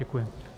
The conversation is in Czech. Děkuji.